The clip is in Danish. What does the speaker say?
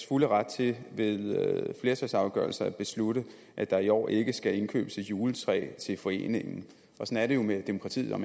fulde ret til ved flertalsafgørelser at beslutte at der i år ikke skal indkøbes et juletræ til foreningen sådan er det jo med demokratiet hvad